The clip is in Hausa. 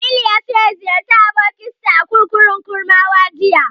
Jamilu ya so ya ziyarci abokinsa a kurkukun Kurmawa jiya.